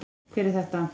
Hver er þetta?